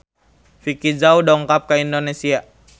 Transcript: Vicki Zao dongkap ka Indonesia